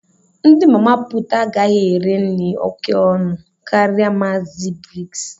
Ndị mama pụụt agaghị ere nri òkè ọnụ karịa Maazi Biggs.